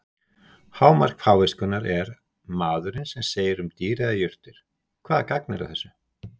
Hámark fáviskunnar er maðurinn sem segir um dýr eða jurtir: Hvaða gagn er að þessu?